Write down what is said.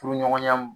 Furuɲɔgɔnya